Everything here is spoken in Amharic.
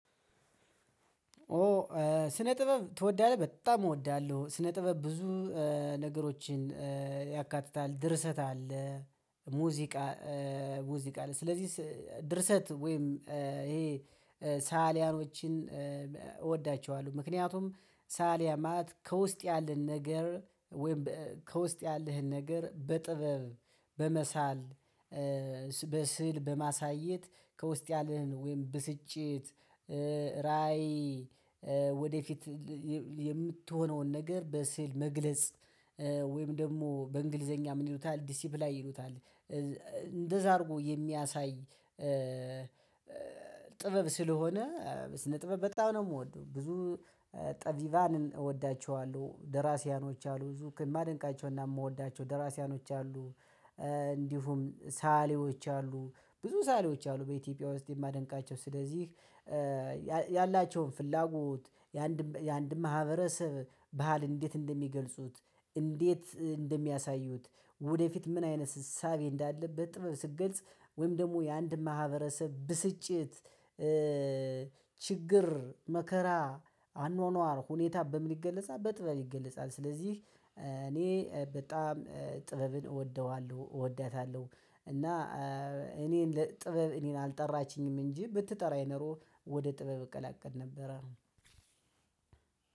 ኦ ስነ ጥበብ ትወዳለህ? በጣም እወዳለሁ። ስነ ጥበብ ብዙ ነገሮችን ያካትታል ድርሰት አለ ሙዚቃ ሙዚቃ አለ ስለዚህ ድርሰት ወይም ይሄ ሠዓሊያኖችን እወዳቸዋለሁ። ምክንያቱም ሠዓሊያን ማለት ከውስጥ ያለን ነገር ወይም ከውስጥ ያለህን ነገር በጥበብ በመሳል በስሥዕል በማሳየት ከውስጥ ያለህን ወይም ብስጭት ራዕይ ወደፊት የምትሆነውን ነገር በሥዕል መግለጽ ወይም ደሞ በእንግሊዘኛ ምን ይሉታል ዲሲፕላይ ይሉታል። እንደዛ አርጎ የሚያሳይ ጥበብ ስለሆነ ስነ ጥበብ በጣም ነው እምወደው። ብዙ ጠቢባንን እወዳቸዋለሁ ደራሲያኖች አሉ ብዙ ማደንቃቸውና እምወዳቸው ደራሲያኖች አሉ። እንዲሁም ሠዓሊዎች አሉ ብዙ ሠዓሊዎች አሉ በኢትዮጵያ ውስጥ የማደንቃቸው ስለዚህ። ያላቸውን ፍላጎት የአንድ የአንድን ማህበረሰብ ባህል እንዴት እንደሚገልጹት እንዴት እንደሚያሳዩት። ወደፊት ምን አይነት እሳቤ እንዳለ በጥበብ ስትገልጽ ወይም ደግሞ የአንድን ማህበረሰብ ብስጭት ችግር መከራ አኗኗር ሁኔታ በምን ይገለጻል በጥበብ ይገለጻል። ስለዚህ እኔ በጣም ጥበብን እወደዋለሁ እወዳታለሁ። እና እኔን ለጥበብ እኔን አልጠራችኝም እንጂ ብትጠራኝ ነሮ ወደ ጥበብ እቀላቀል ነበረ።